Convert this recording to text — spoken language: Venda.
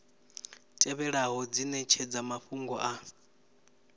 tevhelaho dzi netshedza mafhungo a